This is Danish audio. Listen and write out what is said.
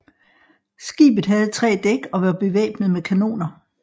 Skibet havde tre dæk og var bevæbnet med kanoner